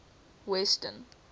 western